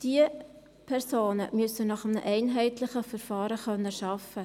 Diese Personen müssen nach einem einheitlichen Verfahren arbeiten können.